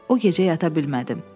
O gecə yata bilmədim.